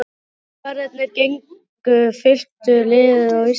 Tollverðirnir gengu fylktu liði á land.